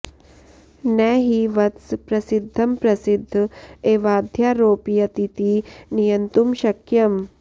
न हि वत्स प्रसिद्धं प्रसिद्ध एवाध्यारोपयतीति नियन्तुं शक्यम्